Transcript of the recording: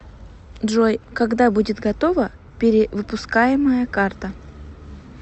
джой когда будет готова перевыпускаемая карта